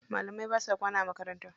Malamai basa kwana a makaranta.